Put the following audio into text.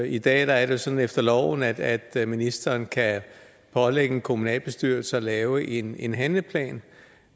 i dag er det sådan efter loven at at ministeren kan pålægge en kommunalbestyrelse at lave en en handleplan